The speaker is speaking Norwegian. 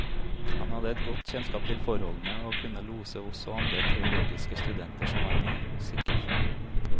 Han hadde et godt kjennskap til forholdene og kunne lose oss og andre teologiske studenter som var med, sikkert frem.